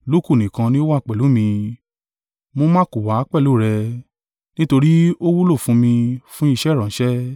Luku nìkan ni ó wà pẹ̀lú mi, mú Marku wá pẹ̀lú rẹ: nítorí ó wúlò fún mi fún iṣẹ́ ìránṣẹ́.